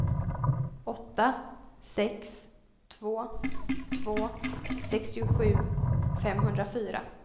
åtta sex två två sextiosju femhundrafyra